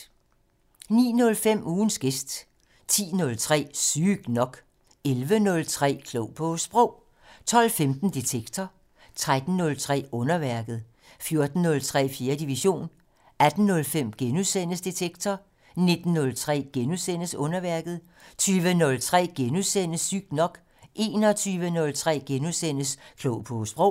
09:05: Ugens gæst 10:03: Sygt nok 11:03: Klog på Sprog 12:15: Detektor 13:03: Underværket 14:03: 4. division 18:05: Detektor * 19:03: Underværket * 20:03: Sygt nok * 21:03: Klog på Sprog *